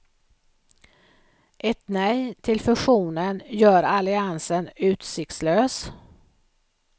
Ett nej till fusionen gör alliansen utsiktslös.